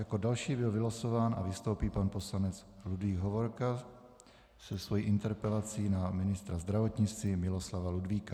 Jako další byl vylosován a vystoupí pan poslanec Ludvík Hovorka se svojí interpelací na ministra zdravotnictví Miloslava Ludvíka.